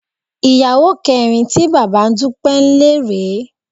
Ìyàwó kẹrin tí bàbá Dúpẹ́ ń lé rè é